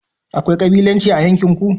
akwai kabilanci a yankin ku?